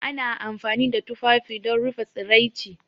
Ana amfani da tufafi don rufe tsiraici